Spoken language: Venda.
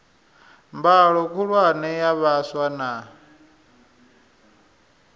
mbalo khulwane ya vhaswa na